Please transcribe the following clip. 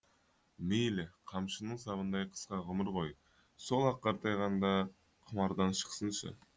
мейлі қамшының сабындай қысқа ғұмыр ғой сол ақ қартайғанда құмардан шықсыншы